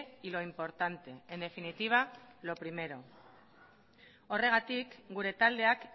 y lo importante en definitiva lo primero horregatik gure taldeak